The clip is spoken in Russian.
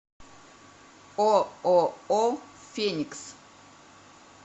ооо феникс